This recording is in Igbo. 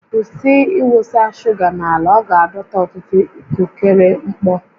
Kwụsị ịwụsa shuga n'ala, ọ ga-adọta ọtụtụ ikukere mkpọ